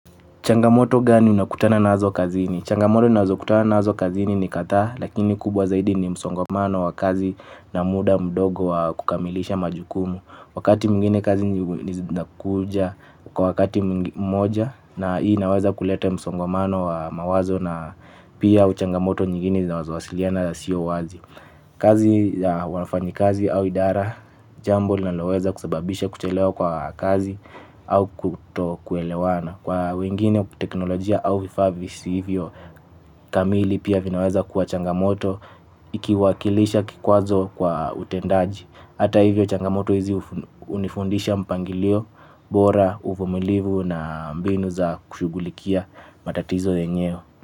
Changamoto gani unakutana nazo kazini? Changamoto ninazo kutana nazo kazini ni kadhaa lakini kubwa zaidi ni msongamano wa kazi na muda mdogo wa kukamilisha majukumu. Wakati mwingine kazi ni zinakuja kwa wakati mmoja na hii naweza kuleta msongamano wa mawazo na pia au changamoto nyingine zinazowasiliana na siyo wazi. Kazi ya wafanyakazi au idara jambo linaloweza kusababisha kuchelewa kwa kazi au kuto kuelewana. Kwa wengine teknolojia au vifaa visivyo kamili pia vinaweza kuwa changamoto ikiwakilisha kikwazo kwa utendaji. Hata hivyo changamoto hizi unifundisha mpangilio bora uvumilivu na mbinu za kushughulikia matatizo yenyewe.